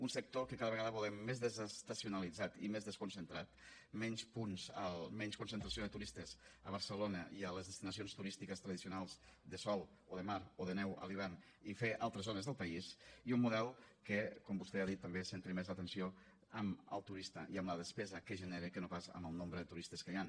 un sector que cada vegada volem més desestacionalitzat i més desconcentrat menys concentració de turistes a barcelona i a les destinacions turístiques tradicionals de sol o de mar o de neu a l’hivern i fer altres zones del país i un model que com vostè ha dit també centri més l’atenció en el turista i en la despesa que genera que no pas en el nombre de turistes que hi han